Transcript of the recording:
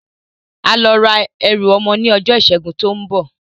Á lọ ra ẹrù ọmọ ní ọjọ́ ìsẹ́gun tí ó ń bọ̀